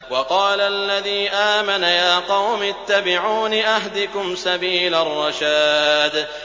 وَقَالَ الَّذِي آمَنَ يَا قَوْمِ اتَّبِعُونِ أَهْدِكُمْ سَبِيلَ الرَّشَادِ